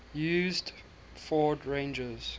used ford's ranger